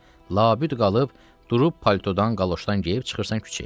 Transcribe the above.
Labüd qalıb durub politodan, qaloşdan geyib çıxırsan küçəyə.